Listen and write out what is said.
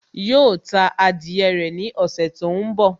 Yóò ta adìyẹ rẹ̀ ní ọ̀ṣẹ̀ tó ń bọ̀